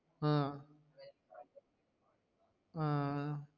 ஆஹ் ஆஹ்